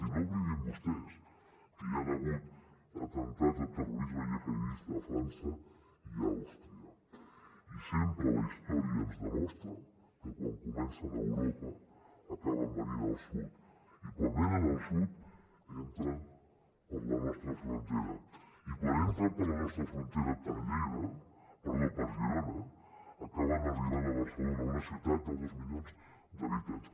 i no oblidin vostès que hi han hagut atemptats de terrorisme gihadista a frança i a àustria i sempre la història ens demostra que quan comencen a europa acaben venint al sud i quan venen al sud entren per la nostra frontera i quan entren per la nostra frontera per girona acaben arribant a barcelona una ciutat de dos milions d’habitants